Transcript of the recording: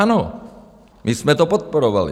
Ano, my jsme to podporovali.